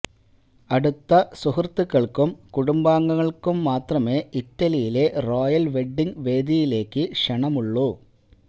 അടുത്ത സുഹൃത്തുക്കൾക്കും കുടുംബാംഗങ്ങൾക്കും മാത്രമേ ഇറ്റലിയിലെ റോയൽ വെഡ്ഡിങ് വേദിയിലേക്ക് ക്ഷണമുള്ളൂ